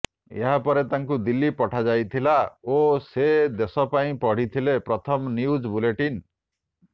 ଏହା ପରେ ତାଙ୍କୁ ଦିଲ୍ଲୀ ପଠାଯାଇଥିଲା ଓ ସେ ଦେଶ ପାଇଁ ପଢ଼ିଥିଲେ ପ୍ରଥମ ନ୍ୟୁଜ୍ ବୁଲେଟିନ୍